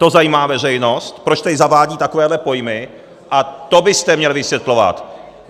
To zajímá veřejnost, proč tady zavádí takovéhle pojmy, a to byste měl vysvětlovat!